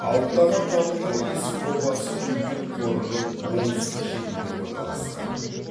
алтын адам табылған есік обасы үлкен қорымның оңтүстік шетінде орналасқан